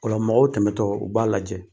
Ola mɔgɔw tɛmɛtɔ u b'a lajɛ